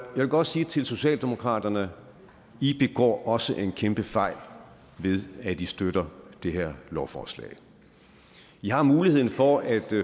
vil godt sige til socialdemokraterne i begår også en kæmpe fejl ved at i støtter det her lovforslag i har muligheden for at